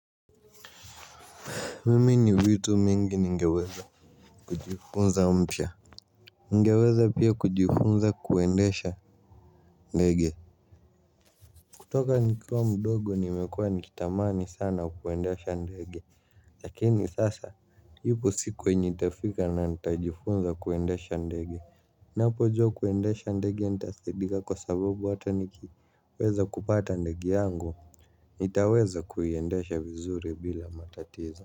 Mimi ni vitu mingi ningeweza kujifunza mpya. Ningeweza pia kujifunza kuendesha ndege. Kutoka nikiwa mdogo nimekuwa nikitamani sana kuendesha ndege. Lakini sasa ipo siku yenye itafika na nitajifunza kuendesha ndege. Ninapojua kuendesha ndege nitasaidika kwa sababu hata nikiweza kupata ndege yangu. Nitaweza kuiendesha vizuri bila matatizo.